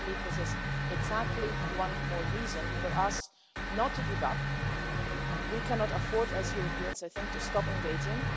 I believe this is exactly one more reason for us not to give up. We cannot afford, as Europeans, I think, to stop engaging.